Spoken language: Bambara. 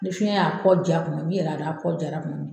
Ni finɛ y'a kɔ ja kuma min, i yɛrɛ y'a dɔn , a kɔ jara kuma min